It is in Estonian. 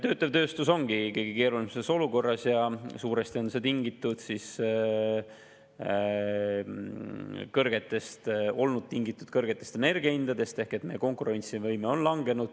Töötlev tööstus ongi kõige keerulisemas olukorras ja suuresti on see olnud tingitud kõrgetest energiahindadest ehk meie konkurentsivõime on langenud.